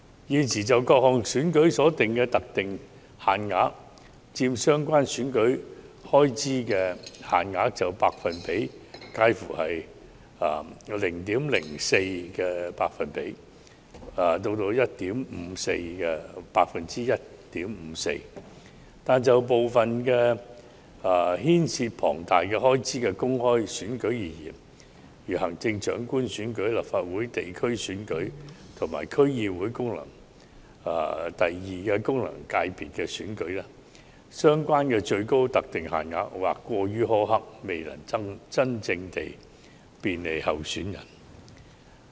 現時就各項選舉所訂的特定限額佔相關選舉開支限額的百分比介乎 0.04% 至 1.54%， 但就部分牽涉龐大開支的公開選舉而言，如行政長官選舉、立法會地區選舉和區議會功能界別選舉，相關的最高特定限額或過於苛刻，未能真正便利候選人。